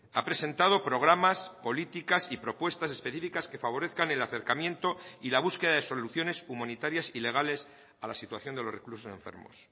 ha presentado programas políticas y propuestas específicas que favorezcan el acercamiento y la búsqueda de soluciones humanitarias y legales a la situación de los reclusos enfermos